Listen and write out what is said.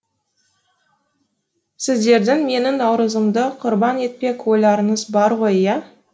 сіздердің менің наурызымды құрбан етпек ойларыңыз бар ғой иә